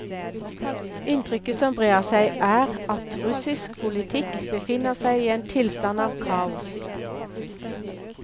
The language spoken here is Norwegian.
Inntrykket som brer seg, er at russisk politikk befinner seg i en tilstand av kaos.